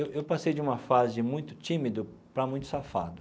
Eu passei de uma fase muito tímida para muito safado.